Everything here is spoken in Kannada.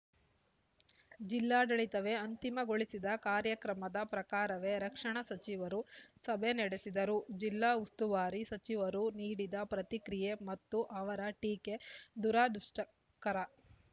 ಜಿಲ್ಲಾಡಳಿತವೇ ಅಂತಿಮಗೊಳಿಸಿದ ಕಾರ್ಯಕ್ರಮದ ಪ್ರಕಾರವೇ ರಕ್ಷಣಾ ಸಚಿವರು ಸಭೆ ನಡೆಸಿದರೂ ಜಿಲ್ಲಾ ಉಸ್ತುವಾರಿ ಸಚಿವರು ನೀಡಿದ ಪ್ರತಿಕ್ರಿಯೆ ಮತ್ತು ಅವರ ಟೀಕೆ ದುರದೃಷ್ಟಕರ